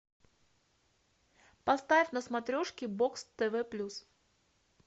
поставь на смотрешке бокс тв плюс